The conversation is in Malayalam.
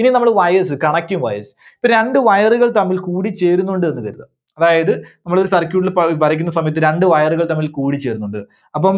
ഇനി നമ്മള് wires, connecting wires. ഇപ്പോ രണ്ട്‌ wire കൾ തമ്മിൽ കൂടിച്ചേരുന്നുണ്ട് എന്ന് കരുതുക അതായത് നമ്മള് ഒരു circuit ന് വരയ്ക്കുന്ന സമയത്ത് രണ്ട്‌ wire കൾ തമ്മിൽ കൂടിച്ചേരുന്നുണ്ട്. അപ്പം